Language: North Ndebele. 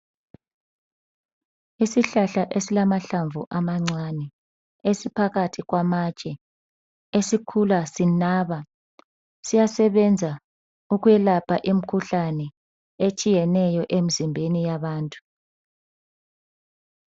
Isihlahla esilamahlamvu amancane esiphakathi kwamatshe esikhula sinaba siyasebenza ukwelapha imkhuhlane etshiyeneyo emzimbeni yabantu.